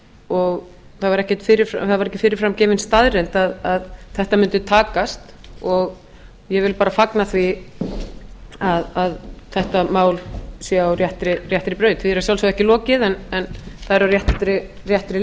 og það var ekki fyrirfram gefin staðreynd að þetta mundi takast og ég vil bara fagna því að þetta mál sé á réttri braut því er að sjálfsögðu ekki lokið en það er á réttri